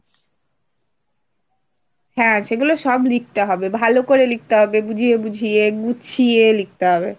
হ্যাঁ সেগুলো সব লিখতে হবে, ভালো করে লিখতে হবে, বুঝিয়ে বুঝিয়ে গুছিয়ে লিখতে হবে।